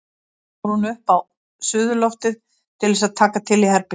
Svo fór hún upp á suðurloftið til þess að taka til í herberginu.